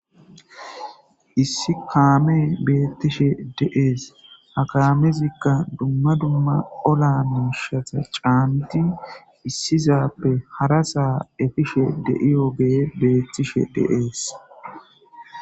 Issi kame betishe dee's ha kamezika duma duma olla mishata ca,nidi issi sappe harasa efishe deyiyoge betees